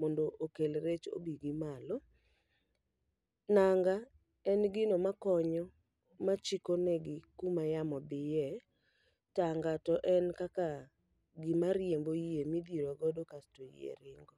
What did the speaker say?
mondo okel rech obi gi malo.. Nanga en gino ma konyo, ma chiko negi kuma yamo dhiye. Tanga to en kaka gima riembo yie midhirogodo kasto yie ringo.